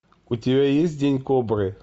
у тебя есть день кобры